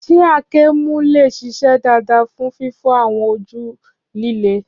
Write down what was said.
Ṣé àáké mú lè ṣiṣẹ́ dáadáa fún fífọ́ àwọn ojú líle?